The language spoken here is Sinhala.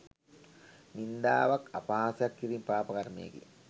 නින්දාවක් අපහාසයක් කිරීම පාපකර්මයකි.